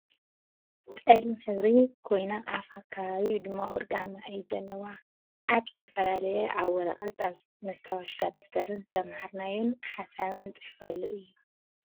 ፀላም ሕብሪ ኮይና ኣፋ ኣከባቢ ድማ ወርቃማ እዩ ዘለዋ። ኣብ ዝተፈላለየ ኣብ ወረቀት ኣብ መስታወሻን ደፍተርን ዝተማህርናዮን ሓሳብናን ንፅሕፈሉ እዩ።